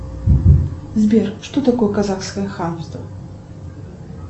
сбер что такое казахское хамство